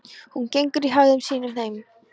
Hún gengur í hægðum sínum heim.